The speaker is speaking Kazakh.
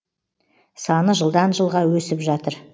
саны жылдан жылға өсіп жатыр